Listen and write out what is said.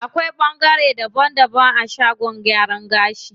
Akwai ɓangare daban daban a shagon gyaran gashi.